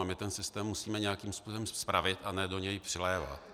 A my ten systém musíme nějakým způsobem spravit, a ne do něj přilévat.